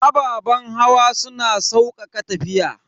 Ababen hawa suna saukaka tafiya.